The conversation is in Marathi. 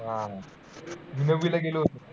आह मी नववीला होतो.